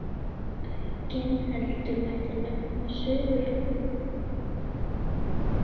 Aukinheldur mætti nefna Suðurskautslandið en þar finnast engar moskítóflugur.